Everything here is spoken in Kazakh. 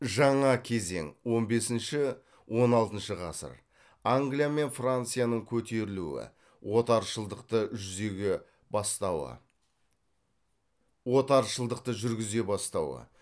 жаңа кезең англия мен францияның көтерілуі отаршылдықты жүргізе бастауы